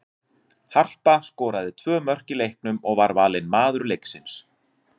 Harpa skoraði tvö mörk í leiknum og var valin maður leiksins.